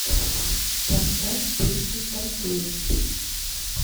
поставь песню тату